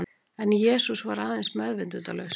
En Jesús var aðeins meðvitundarlaus.